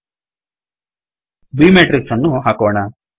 b matrix ಅನ್ನು ಹಾಕೋಣ